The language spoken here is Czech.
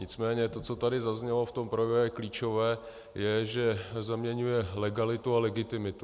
Nicméně to, co tady zaznělo v tom projevu, klíčové je, že zaměňuje legalitu a legitimitu.